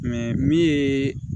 min ye